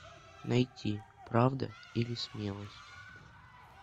найти правда или смелость